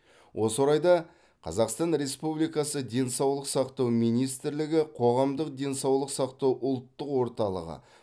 осы орайда қазақстан республикасы денсаулық сақтау министрлігі қоғамдық денсаулық сақтау ұлттық орталығы